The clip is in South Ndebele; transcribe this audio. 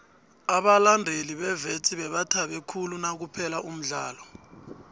abalandeli bewits bebathabe khulu nakuphela umdlalo